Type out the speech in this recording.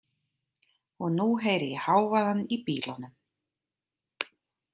Og nú heyri ég hávaðann í bílunum.